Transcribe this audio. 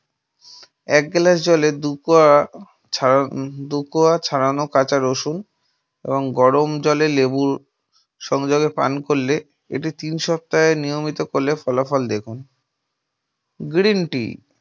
এক glass জলে দু কোয়া ছাড়া দু কোয়া ছাড়ানো কাঁচা রসুন এবং গরম জলে লেবু সংযোগে পান করলে এটি তিন সপ্তাহে নিয়মিত করলে ফলাফল দেখুন । guarantee